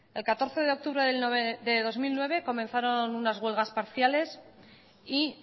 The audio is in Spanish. el catorce de octubre de dos mil nueve comenzaron unas huelgas parciales y